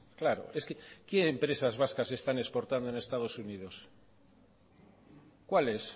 claro es que qué empresas vascas están exportando en estados unidos cuáles